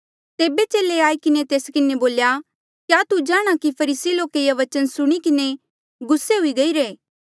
तेबे चेले आई किन्हें तेस किन्हें बोल्या क्या तू जाणहां कि फरीसी लोके ये बचन सुणी किन्हें ठोकर खाध्ही